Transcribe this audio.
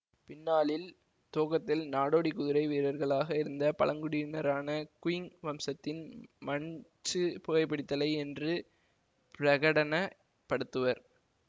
பின்னாளில் துவக்கத்தில் நாடோடி குதிரை வீரர்களாக இருந்த பழங்குடியினரான குயிங் வம்சத்தின் மன்ச்சு புகைபிடித்தலை என்று பிரகடன படுத்துவர்